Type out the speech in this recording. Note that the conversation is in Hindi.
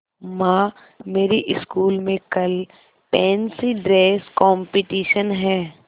माँ मेरी स्कूल में कल फैंसी ड्रेस कॉम्पिटिशन है